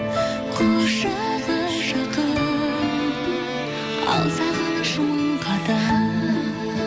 құшағы жақын ал сағыныш мың қадам